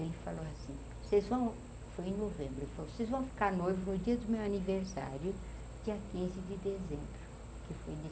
Ele falou assim, vocês vão, foi em novembro, ele falou, vocês vão ficar noivo no dia do meu aniversário, dia quinze de dezembro, que foi de